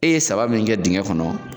E ye saba min kɛ dingɛ kɔnɔ